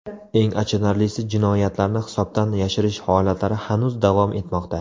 Eng achinarlisi, jinoyatlarni hisobdan yashirish holatlari hanuz davom etmoqda.